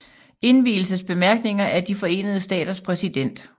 Indvielsesbemærkninger af De Forenede Staters præsident